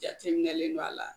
Jateminɛlen do a la